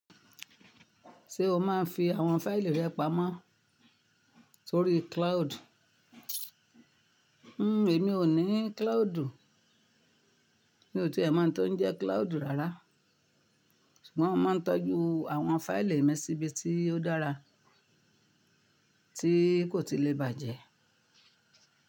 Ṣé o máa ń fi àwọn fáìlì rẹ pamọ́ sórí cloud? Emi ò ní cloud, mi ò tiè mọ̀ n tó ń jẹ́ cloud rárá. Mọ́n máa ń tọ́jú àwọn fáìlì mi síbi tí ó dára tí kò tilè bàjẹ́.